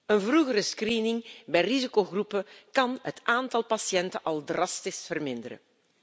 Een vroegere screening bij risicogroepen kan het aantal patiënten al drastisch verminderen.